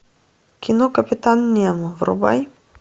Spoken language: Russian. кино капитан немо врубай